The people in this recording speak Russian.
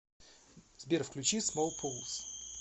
сбер включи смолпулс